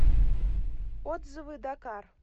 отзывы дакар